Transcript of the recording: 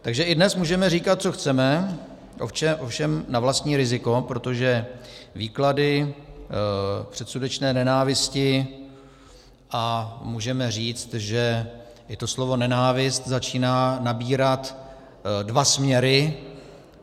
Takže i dnes můžeme říkat, co chceme, ovšem na vlastní riziko, protože výklady předsudečné nenávisti, a můžeme říci, že i to slovo nenávist začíná nabírat dva směry.